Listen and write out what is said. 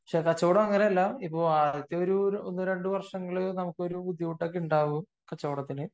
പക്ഷെ കച്ചവടം അങ്ങനെയെല്ലാ ആദ്യത്തെ ഒന്ന് രണ്ടു വര്ഷം നമുക്കൊരു ബുദ്ധിമുട്ടൊക്കെ ഉണ്ടാവും കച്ചവടത്തിന്